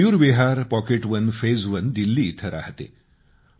मी Mayur Vihar pocket one phase one Delhi इथं राहते